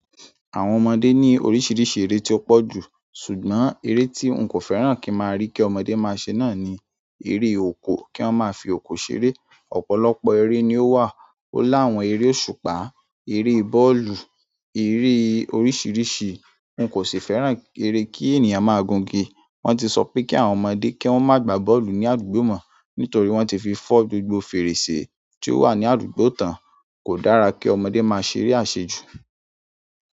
Àwọn ọmọdé ní oríṣiríṣi eré tí ó pọ̀ jù, ṣùgbọ́n eré tí ń kò fẹ́ràn kí n má rí kí ọmọdé máa ṣe náà ni, eré òkò, kí wọ́n máa fi òkò ṣeré. Ọ̀pọ̀lọpọ̀ eré ni ó wà, ó láwọn eré òṣùpá, eré bọ́ọ̀lù, eré oríṣiríṣi. N kò sì fẹ́ràn ere kí ènìyàn máa gun igi. Wọ́n ti sọ pé kí àwọn ọmọdé kí wọ́n má gba bọ́ọ̀lù ní àdúgbò mọ́, nítorí wọ́n ti fi fọ́ gbogbo fèrèsé tí ó wà ní àdúgbò tán. Kò dára kí ọmọdé máa ṣeré àṣejù.